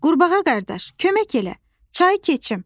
Qurbağa qardaş, kömək elə, çayı keçim.